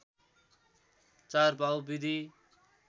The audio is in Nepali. ४ पाउ विधि